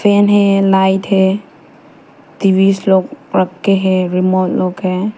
Fan है light है TV लोग रख के है रिमोट लोग है।